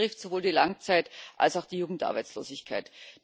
Das betrifft sowohl die Langzeit als auch die Jugendarbeitslosigkeit.